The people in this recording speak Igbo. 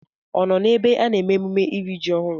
Ọ nọ ebe a na-eme emume iri ji ọhụrụ?